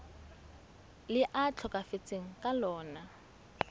le a tlhokafetseng ka lona